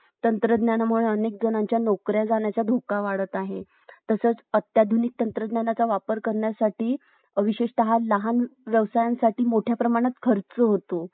उपनद्या यांच्या खोऱ्यांचा हा प्रदेश आहे हा प्रदेश पश्चिमेकडे सिंध पंजाबपासून पूर्वेकडे सध्याच्या बांग्लादेशपर्यंत पसरलेला आहे